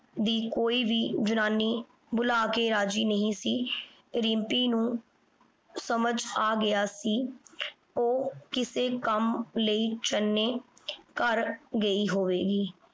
ਦੀ ਕੋਈ ਵੀ ਜਨਾਨੀ ਬੁਲਾ ਕੇ ਰਾਜ਼ੀ ਨਹੀਂ ਸੀ। ਰਿੰਪੀ ਨੂੰ ਸਮਝ ਆ ਗਿਆ ਸੀ ਉਹ ਕਿਸੇ ਕੰਮ ਲਈ ਚੰਨੇ ਘਰ ਗਈ ਹੋਵੇਗੀ।